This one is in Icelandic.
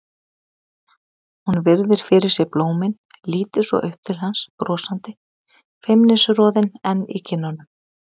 Hún virðir fyrir sér blómin, lítur svo upp til hans brosandi, feimnisroðinn enn í kinnunum.